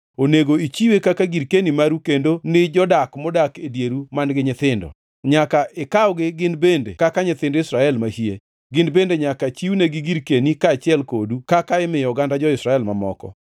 Onego ichiwe kaka girkeni maru kendo ni jodak modak e dieru man-gi nyithindo. Nyaka ikawgi gin bende kaka nyithind Israel mahie. Gin bende nyaka chiwnegi girkeni kaachiel kodu kaka imiyo oganda jo-Israel mamoko.